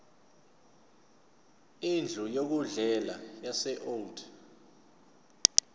indlu yokudlela yaseold